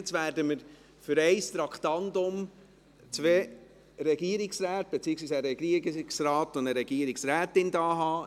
Jetzt werden wir für ein Traktandum zwei Regierungsräte – beziehungsweise einen Regierungsrat und eine Regierungsrätin – bei uns haben.